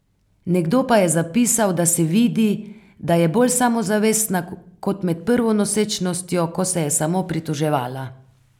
Nekdo pa je zapisal, da se vidi, da je bolj samozavestna, kot med prvo nosečnostjo, ko se je samo pritoževala.